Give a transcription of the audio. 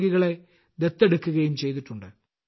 രോഗികളെ ദത്തെടുക്കുകയും ചെയ്തിട്ടുണ്ട്